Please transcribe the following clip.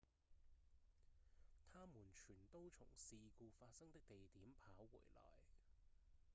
他們全都從事故發生的地點跑回來